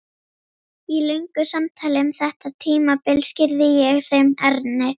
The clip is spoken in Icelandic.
Í löngu samtali um þetta tímabil skýrði ég þeim Erni